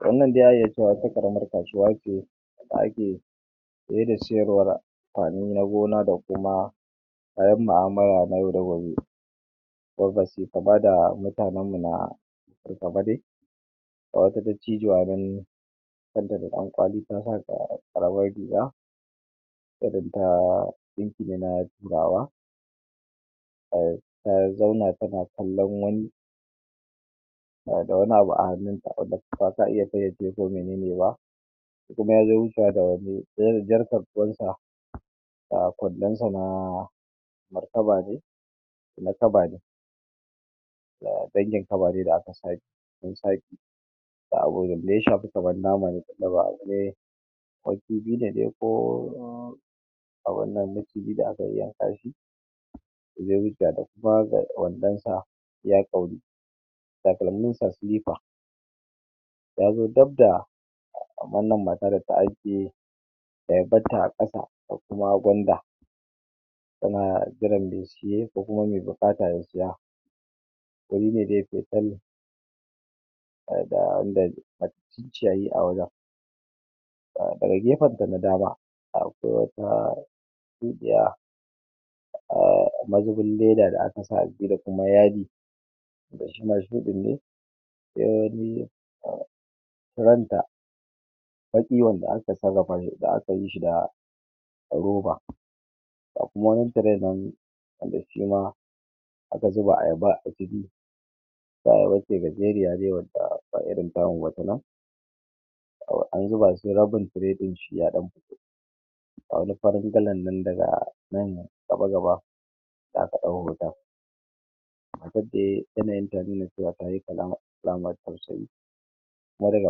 Wannan dai za a iya cewa wata ƙaramar kasuwa ce da ake saye da sayarwar amfani na gona da kuma kayan mu'amala na yau da gobe. ka gwada mutanenmu na Ga wata dattijuwa nan kanta da ɗankwali ta sa ƙaramar riga ɗinki ne na Turawa. um Ta zauna tana kallo wani da wani abu a hannunta mene ne ba kuma ya je wucewa da wasu ga kwandonsa na na kaba ne, na kaba ne dangin kaba ne da aka a wannan maciji da aka yayyanka shi wandonsa iya ƙwauri takalminsa silifa ya zo dab da da kuma gwanda tana jiran mai saye ko kuma mai buƙata ya saya guri ne dai da [um duk ciyayi a wajen. Daga gefensa na dama, akwai wata shuɗiya um mazubin leda da aka sa a ciki da kuma yadi wanda na ɗiban da aka yi shi da roba Ga kuma wani tire nan shi ma da aka zuba ayaba a ciki gajeriya dai wadda ba irin tamu ba ta nan an zuba su rabin tire ɗin shi ya ɗauko Ga wani farin galan nan daga nan gaba-gaba da aka ɗau hoton nan dai yanayinta ya nuna cewa ta yi alamar tausayi kuma daga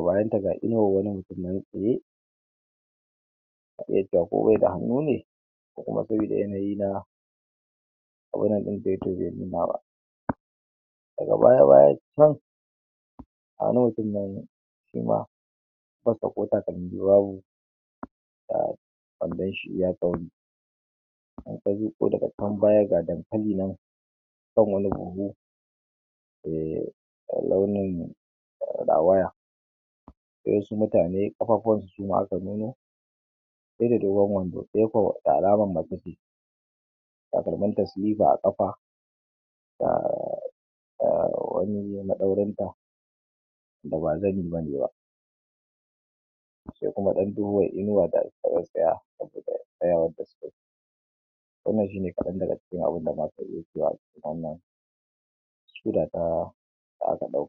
bayanta ga inuwar wani mutum nan tsaye ko kuma sabida yanayi na daga baya-baya can a nan ɗin nan shi ma ƙafarsa ko takalmi babu um wandon shi iya ƙwauri in ka leƙo daga can baya ga dankali nan kan wani buhu e, mai launin rawaya. Sai wasu mutane ƙafafuwansu su ma aka nuno ɗaya da dogon wando, ɗaya kuwa da alaman mace ce takalminta silifa a ƙafa da um wani maɗaurinta da ba sai kuma ɗan duhuwar inuwa Wanda shi ne kaɗan daga cikin abin da za ka iya cewa a cikin wannan